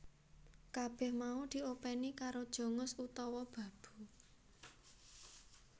Kabèh mau diopèni karo Jongos utawa babu